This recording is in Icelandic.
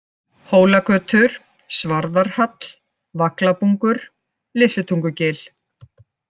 Hólagötur, Svarðarhall, Vaglabungur, Litlutungugil